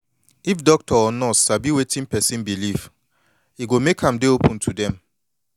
if doctor or nurse sabi wetin person belief e go make am dey open to dem